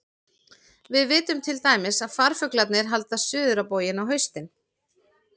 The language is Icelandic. Við vitum til dæmis að farfuglarnir halda suður á bóginn á haustin.